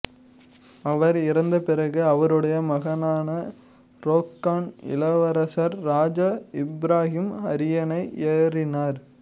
அவர் இறந்த பிறகு அவருடைய மகனான ரோக்கான் இளவரசர் ராஜா இப்ராகிம் அரியணை ஏறினார்